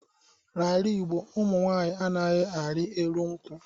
N'ala Igbo, ụmụ nwaanyi anaghị arị elu nkwu.